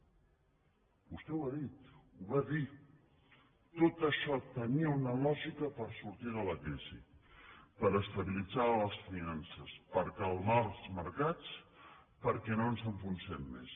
vostè ho ha dit ho va dir tot això tenia una lògica per sortir de la crisi per estabilitzar les finances per calmar els mercats perquè no ens enfonsem més